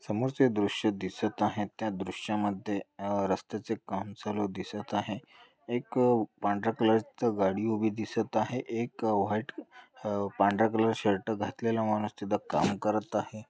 समोर जे दृश्य दिसत आहेत त्या दृश्या मध्ये अ रस्ते चे काम चालू दिसत आहे एक पांढर्‍या कलर च गाडी उभी दिसत आहे. एक व व्हाइट अ पांढर्‍या कलर शर्ट घातलेला माणूस तिथ काम करत आहे.